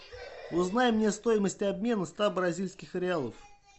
узнай мне стоимость обмена ста бразильских реалов